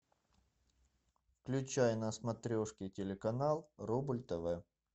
включай на смотрешке телеканал рубль тв